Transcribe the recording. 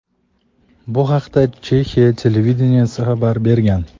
Bu haqda Chexiya televideniyesi xabar bergan.